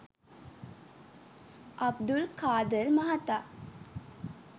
අබ්දුල් කාදර් මහතා